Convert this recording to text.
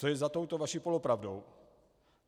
Co je za touto vaší polopravdou?